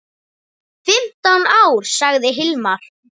Fimmtán ár, sagði Hilmar.